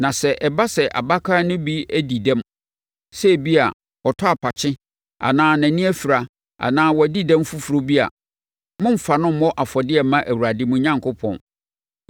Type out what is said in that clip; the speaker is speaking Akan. Na sɛ ɛba sɛ abakan no bi adi dɛm, sɛ ebia, ɔtɔ apakye anaa nʼani afira anaa wadi ɛdɛm foforɔ bi a, mommfa no mmɔ afɔdeɛ mma Awurade mo Onyankopɔn.